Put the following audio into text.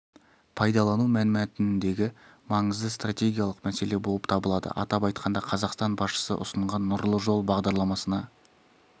пайдалану мәнмәтініндегі маңызды стратегиялық мәселе болып табылады атап айтқанда қазақстан басшысы ұсынған нұрлы жол бағдарламасына